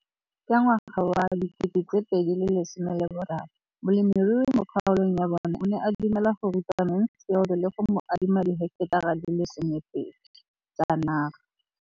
Ka ngwaga wa 2013, molemirui mo kgaolong ya bona o ne a dumela go ruta Mansfield le go mo adima di heketara di le 12 tsa naga.